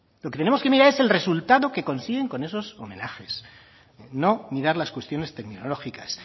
lo que tenemos que mirar es el resultado que consiguen con esos homenajes no mirar las cuestiones terminológicas